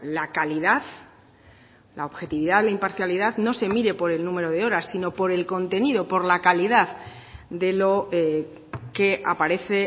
la calidad la objetividad la imparcialidad no se mire por el número de horas sino por el contenido por la calidad de lo que aparece